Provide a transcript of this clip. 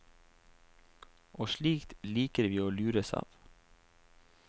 Og slikt liker vi å lures av.